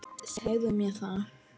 Segðu mér það.